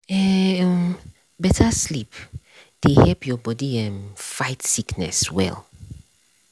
eh um better sleep dey help your body um fight sickness well.